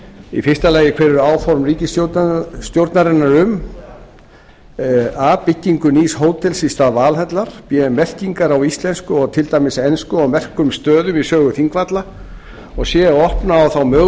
þjóðgarðinum á þingvöllum hver eru áform ríkisstjórnarinnar um a byggingu nýs hótels í stað valhallar b merkingar á íslensku og til dæmis ensku á merkum stöðum í sögu þingvalla c að stuðla að því